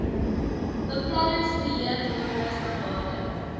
beplanningsbeheer norme standaarde